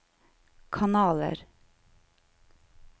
kanaler